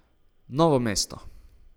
Novo mesto.